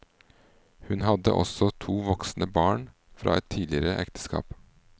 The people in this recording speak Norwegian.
Hun hadde også to voksne barn fra et tidligere ekteskap.